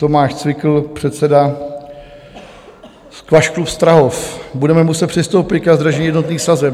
Tomáš Cvikl, předseda Squash clubu Strahov: "Budeme muset přistoupit ke zdražení jednotných sazeb.